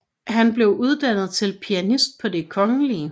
Han blev uddannet til pianist på Det Kgl